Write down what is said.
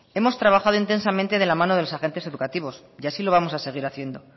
hemos trabajando intensamente de la mano de los agentes educativos y así lo vamos a seguir haciendo